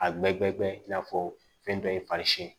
A bɛɛ bɛ in n'a fɔ fɛn dɔ ye